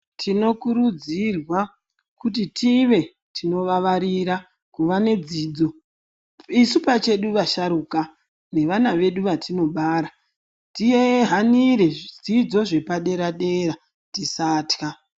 Tinokurudzirwa kuti tive tinivavarira kuva nedzidzo isu pachedu vasharukwa nevana vedu vatinobara tihanire zvidzidzo zvepadera dera tisatya.